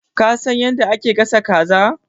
Ka san yadda ake gasa kaza?